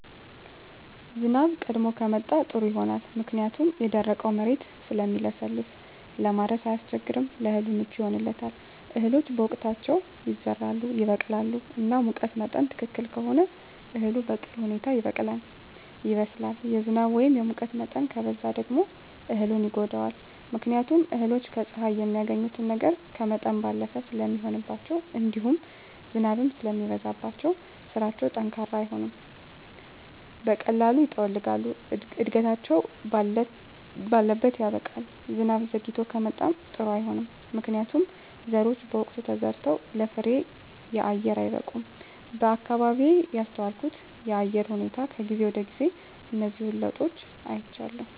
ዝናብ ቀድሞ ከመጣ ጥሩ ይሆናል ምክንያቱም የደረቀዉ መሬት ስለሚለሰልስ ለማረስ አያስቸግርም ለእህሉ ምቹ ይሆንለታል እህሎች በወቅታቸዉ ይዘራሉ ይበቅላሉ እና ሙቀት መጠን ትክክል ከሆነ እህሉ በጥሩ ሁኔታ ይበቅላል ይበስላል የዝናብ ወይም የሙቀት መጠን ከበዛ ደግሞ እህሉን ይጎዳዋል ምክንያቱም እህሎች ከፀሐይ የሚያገኙትን ነገር ከመጠን ባለፈ ስለሚሆንባቸዉእንዲሁም ዝናብም ሲበዛባቸዉ ስራቸዉ ጠንካራ አይሆንም በቀላሉ ይጠወልጋሉ እድገታቸዉ ባለት ያበቃል ዝናብ ዘይግቶ ከመጣም ጥሩ አይሆንም ምክንያቱም ዘሮች በወቅቱ ተዘርተዉ ለፍሬየአየር አይበቁም በአካባቢየ ያስተዋልኩት የአየር ሁኔታ ከጊዜ ወደጊዜ እነዚህን ለዉጦች አይቻለሁ